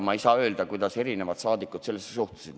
Ma ei oska öelda, kuidas erinevad komisjoni liikmed sellesse suhtusid.